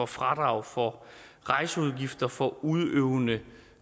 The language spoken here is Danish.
fradrag for rejseudgifter for udøvende